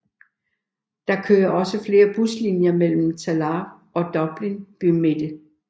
Der kører også flere buslinjer melem Tallaght og Dublin bymidte